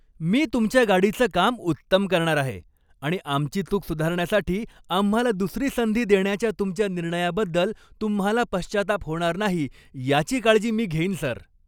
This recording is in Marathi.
मी तुमच्या गाडीचं काम उत्तम करणार आहे आणि आमची चूक सुधारण्यासाठी आम्हाला दुसरी संधी देण्याच्या तुमच्या निर्णयाबद्दल तुम्हाला पश्चात्ताप होणार नाही याची काळजी मी घेईन सर!